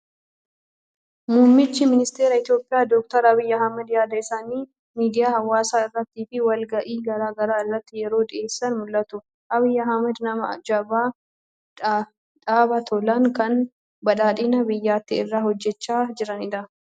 Muummichi Ministeera Itoophiyaa Dookter Abiyyi Ahmed yaada isaanii miidiyaa hawaasaa irrattii fi wal ga'ii garaa garaa irratti yeroo dhiyeessan mul'atu. Abiyyi Ahmed nama jabaa, dhaaba tolan, kan badhaadhina biyyattii irratti hojjechaa jiranidha.